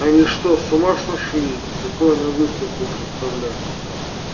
они что с ума сошли такое на выставку представлять